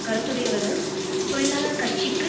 கருத்துடையவர்கள் தொழிலாளர் கட்சிக்கு